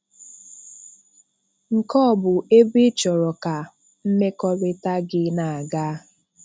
Nke a ọ bụ ebe ị chọrọ ka mmekọrịta gị na-aga?